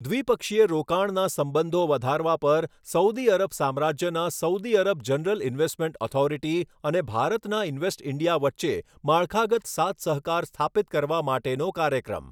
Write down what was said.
દ્વિપક્ષીય રોકાણના સંબંધો વધારવા પર સઉદી અરબ સામ્રાજ્યનાં Saudi Arab general investment authority અને ભારતનાં ઇન્વેસ્ટ ઇન્ડિયા વચ્ચે માળખાગત સાથસહકાર સ્થાપિત કરવા માટેનો કાર્યક્રમ